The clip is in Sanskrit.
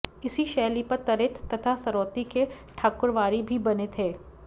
इसी शैली पर तरेत तथा सरौती के ठाकुरवारी भी बने थे